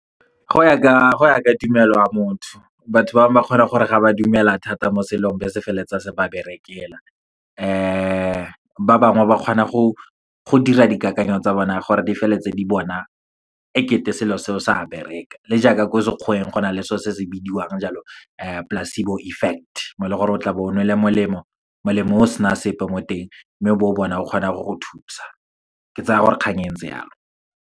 Go ya ka tumelo ya motho. Batho ba bangwe ba kgona gore ga ba dumela thata mo selong, be se feleletsa se ba berekela. Ba bangwe ba kgona go dira dikakanyo tsa bona gore di feleletse di bona ekete selo se o sa bereka. Le jaaka ko sekgweng, go na le so se se bidiwang jalo, placebo effect. Mo e leng gore o tla bo o nwele molemo, molemo o sena sepe mo teng, mme bo o bona o kgona go go thusa. Ke tsaya gore kgang e entse yalo.